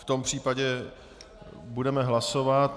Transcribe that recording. V tom případě budeme hlasovat.